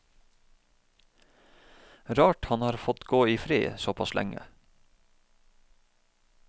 Rart han har fått gå i fred såpass lenge.